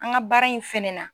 An ka baara in fɛnɛ na.